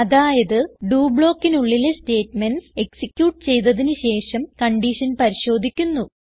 അതായത് ഡോ ബ്ലോക്കിനുള്ളിലെ statements execute ചെയ്തതിന് ശേഷം കൺഡിഷൻ പരിശോധിക്കുന്നു